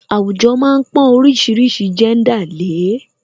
Àwùjọ má ń pọn oríṣiríṣi jẹ́ńdà lè é